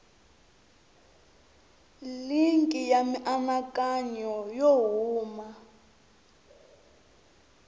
linki ya mianakanyo yo huma